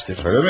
Eləmi?